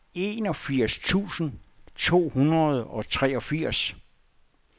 enogfirs tusind to hundrede og treogfirs